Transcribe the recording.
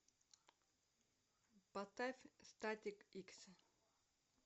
поставь статик икс